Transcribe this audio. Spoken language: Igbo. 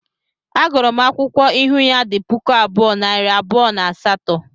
A gụrụ m akwụkwọ ịhụ ya di puku abụọ, nari abụọ na asaatọ